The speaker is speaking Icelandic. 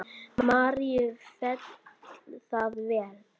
Maríu féll það vel.